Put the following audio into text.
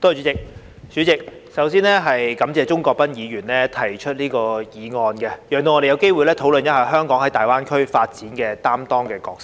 代理主席，首先，感謝鍾國斌議員提出議案，讓我們有機會討論香港在粵港澳大灣區發展中擔當的角色。